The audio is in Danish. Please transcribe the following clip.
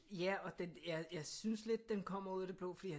Ja og jeg synes lidt den kommer ud af det blå fordi